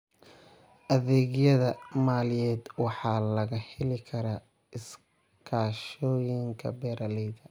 Adeegyada maaliyadeed waxaa laga heli karaa iskaashatooyinka beeralayda.